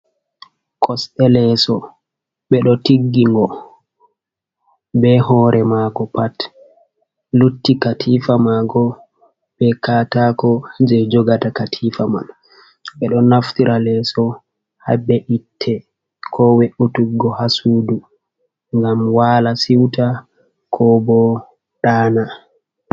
Kosɗe leso, ɓe ɗo tiggi ngo, be hore mango pat, lutti katifa mango be katako jei jogata katifa man. Ɓe ɗo naftira leso habe'itte ko we'utuggo ha sudu ngam wala siwta, ko bo ɗaana.